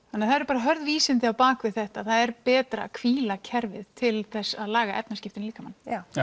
það eru bara hörð vísindi á bak við þetta það er betra að hvíla kerfið til þess að laga efnaskiptin í líkamanum já